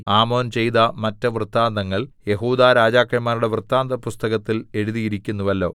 ആമോൻ ചെയ്ത മറ്റ് വൃത്താന്തങ്ങൾ യെഹൂദാ രാജാക്കന്മാരുടെ വൃത്താന്തപുസ്തകത്തിൽ എഴുതിയിരിക്കുന്നുവല്ലോ